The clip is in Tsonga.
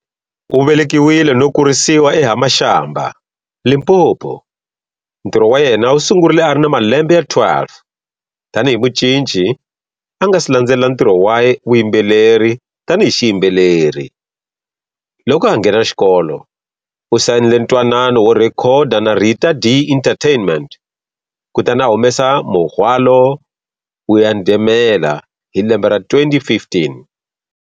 U velekiwile no kurisiwa eHa-Mashamba, Limpopo, ntirho wa yena wu sungurile ari na malembe ya 12 tani hi mucinci a nga si landzelela ntirho wa vuyimbeleri tani hi xiyimbeleri, loko a ha nghena xikolo u sayinile ntwanano wo rhekhoda na Rita Dee Entertainment kutani a humesa"Muhwalo Uya Ndemela" hi lembe ra 2015.